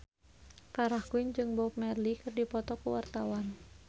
Farah Quinn jeung Bob Marley keur dipoto ku wartawan